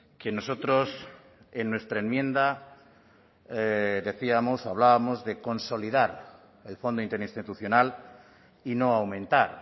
que nosotros en nuestra enmienda decíamos hablábamos de consolidar el fondo interinstitucional y no aumentar